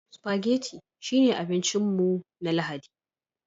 Spaghetti shine abincin mu na Lahadi